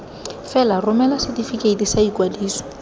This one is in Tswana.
fela romela setefikeiti sa ikwadiso